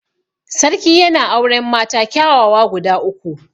Sarki yana auren mata kyawawa guda uku.